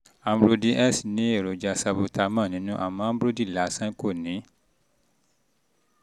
ambrodil s ambrodil s ní èròjà salbutamol nínú àmọ́ amdrodil lásán kò ní